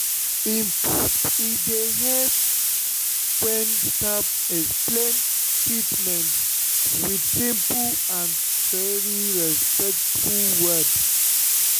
in fact e dey help when staff explain treatment with simple and truly respectful words.